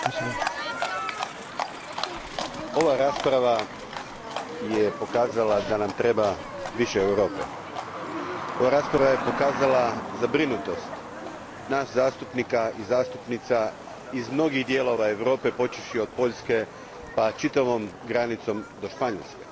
Gospodine predsjedniče, ova rasprava je pokazala da nam treba više Europe. Ova rasprava je pokazala zabrinutost nas zastupnika i zastupnica iz mnogih dijelova Europe počevši od Poljske pa čitavom granicom do Španjolske.